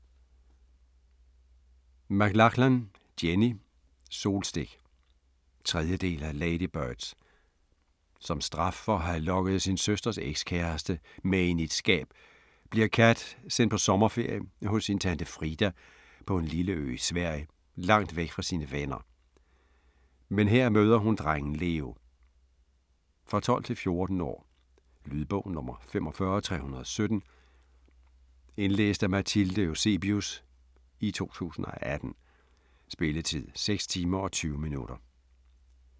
McLachlan, Jenny: Solstik 3. del af Ladybirds. Som straf for at have lokket sin søsters ekskæreste med ind i et skab, bliver Kat sendt på sommerferie hos sin tante Frida på en lille ø i Sverige, langt væk fra sine venner. Men her møder hun drengen Leo. For 12-14 år. Lydbog 45317 Indlæst af Mathilde Eusebius, 2018. Spilletid: 6 timer, 20 minutter.